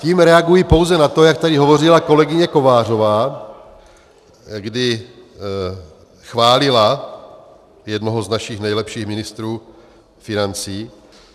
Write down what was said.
Tím reaguji pouze na to, jak tady hovořila kolegyně Kovářová, kdy chválila jednoho z našich nejlepších ministrů financí.